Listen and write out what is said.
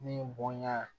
Min bɔnɲa